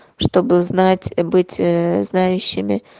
чтобы знать быть ээ знающими